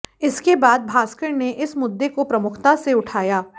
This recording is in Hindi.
इसके बाद भास्कर ने इस मुद्दे को प्रमुखता से उठाया